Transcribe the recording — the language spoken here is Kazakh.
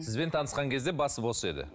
сізбен таңысқан кезде басы бос еді